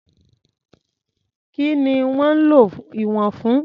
Kí ni wọ́n ń lo ìwọ̀n fún?